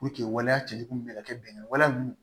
waleya cɛ jugu bɛ ka kɛ bɛnɛ wale ninnu